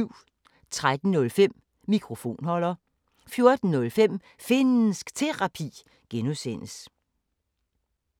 13:05: Mikrofonholder 14:05: Finnsk Terapi (G)